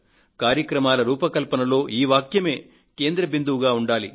కార్యక్రమాల రూపకల్పనలో ఈ వాక్యమే కేంద్రంగా ఉండాలి